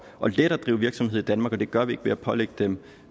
og let at drive virksomhed i danmark og det gør vi ikke ved at pålægge dem